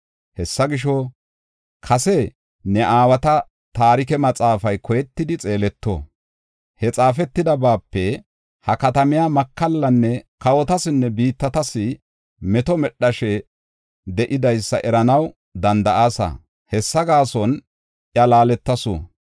Hessa gisho, kase ne aawata taarike maxaafay koyetidi xeeleto; he xaafetidabape ha katamiya makallanne kawotasinne biittatas meto medhashe de7idaysa eranaw danda7aasa; hessa gaason iya laaletasu.